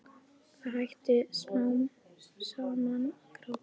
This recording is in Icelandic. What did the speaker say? Það hætti smám saman að gráta.